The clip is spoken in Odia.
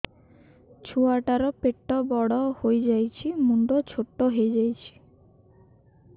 ଛୁଆ ଟା ର ପେଟ ବଡ ହେଇଯାଉଛି ମୁଣ୍ଡ ଛୋଟ ହେଇଯାଉଛି